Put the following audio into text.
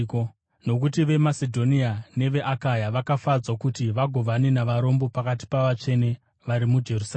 Nokuti veMasedhonia neveAkaya vakafadzwa kuti vagovane navarombo pakati pavatsvene vari muJerusarema.